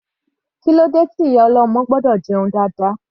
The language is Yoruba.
Kílódé tí ìyá ọlọ́mọ gbọ́dọ̀ jẹun dáadáa?